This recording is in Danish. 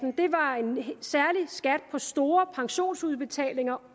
på store pensionsudbetalinger